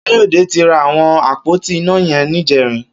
Kayode ti rá awọn ápótí iná yẹn nijẹrin